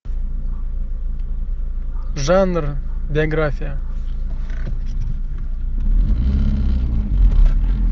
жанр биография